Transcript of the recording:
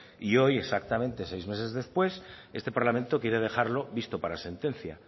y hoy exactamente seis meses después este parlamento quiere dejarlo visto para sentencia